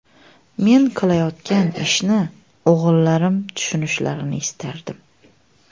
Men qilayotgan ishni o‘g‘illarim tushunishlarini istardim.